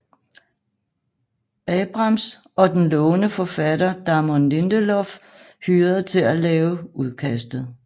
Abrams og den lovende forfatter Damon Lindelof hyret til at lave udkastet